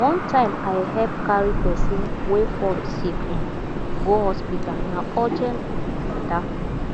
one time i help carry person wey fall sick um go hospital na urgent um matter